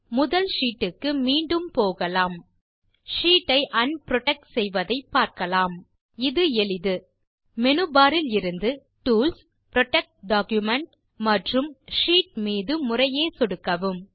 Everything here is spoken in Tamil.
முதல் ஷீட் க்கு மீண்டும் போகலாம் ஷீட் ஐ un புரொடெக்ட் செய்வதை பார்க்கலாம் இது எளிது மேனு பார் இலிருந்து டூல்ஸ் புரொடெக்ட் டாக்குமென்ட் மற்றும் ஷீட் மீது முறையே சொடுக்கவும்